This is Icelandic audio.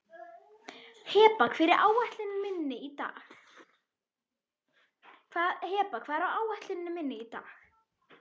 Heba, hvað er á áætluninni minni í dag?